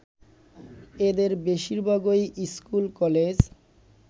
এদের বেশিরভাগই school - college